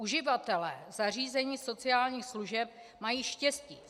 Uživatelé zařízení sociálních služeb mají štěstí.